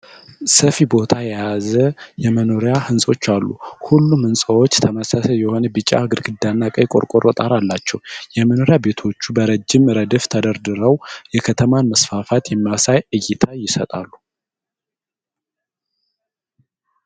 ሰፊ ቦታ የያዘ የመኖሪያ ሕንጻዎች አሉ። ሁሉም ሕንጻዎች ተመሳሳይ የሆነ ቢጫ ግድግዳና ቀይ ቆርቆሮ ጣራ አላቸው። የመኖሪያ ቤቶቹ በረጅም ረድፍ ተደርድረው የከተማን መስፋፋት የሚያሳይ እይታ ይሰጣሉ።